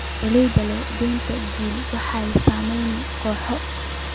Beeraleyda leh danta guud waxay sameeyaan kooxo.